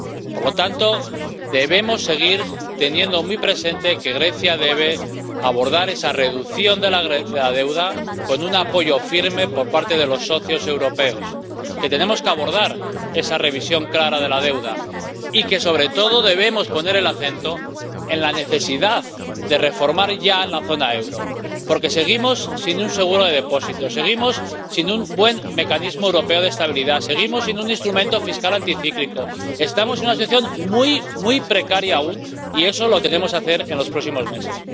Por lo tanto, debemos seguir teniendo muy presente que Grecia debe abordar esa reducción de la deuda con un apoyo firme por parte de los socios europeos, que tenemos que abordar esa revisión clara de la deuda y que, sobre todo, debemos poner el acento en la necesidad de reformar ya la zona euro, porque seguimos sin un seguro de depósitos, seguimos sin un buen mecanismo europeo de estabilidad, seguimos sin un instrumento fiscal anticíclico. Estamos en una situación muy, muy precaria aún, y eso lo tenemos que hacer en los próximos meses.